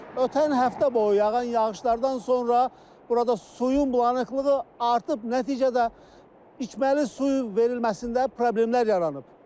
Ötən həftə boyu yağan yağışlardan sonra burada suyun bulanıqlığı artıb, nəticədə içməli suyun verilməsində problemlər yaranıb.